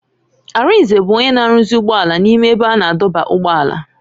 Arinze bụ onye na-arụzi ụgbọala n'ime ebe a na-adọba ụgbọala.